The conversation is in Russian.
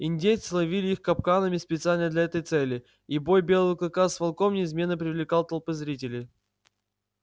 индейцы ловили их капканами специально для этой цели и бой белого клыка с волком неизменно привлекал толпы зрителей